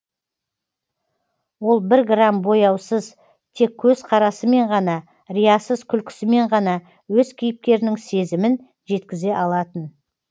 ол бір грамм бояусыз тек көзқарасымен ғана риясыз күлкісімен ғана өз кейіпкерінің сезімін жеткізе алатын